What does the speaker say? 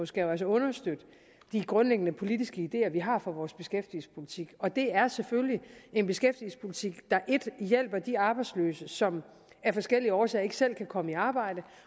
skal understøtte de grundlæggende politiske ideer vi har for vores beskæftigelsespolitik og det er selvfølgelig en beskæftigelsespolitik der hjælper 1 de arbejdsløse som af forskellige årsager ikke selv kan komme i arbejde